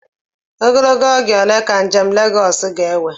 Ogologo oge ole ka njem Lagọọsu ga-ewe?